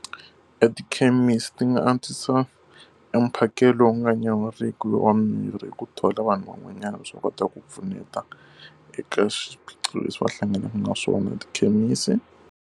Etikhemisi ti nga antswisa emphakelo wu nga nyawuriki lowu wa mirhi hi ku thola vanhu van'wanyana leswaku va kota ku pfuneta eka swiphiqo leswi va hlanganaka na swona tikhemisi.